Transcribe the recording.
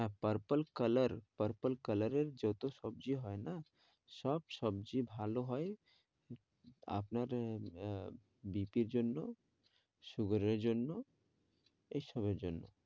হ্যাঁ, Purple colour, purple colour এর যেহেতু সবজি হয় না সব সবজি ভালো হয় আপনার আহ বিক্রির জন্যও sugar এর জন্যও এই সবের জন্য,